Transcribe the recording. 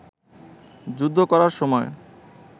যুদ্ধ করার সময়